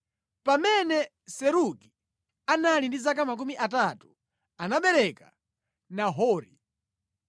Pamene Serugi anali ndi zaka makumi atatu, anabereka Nahori.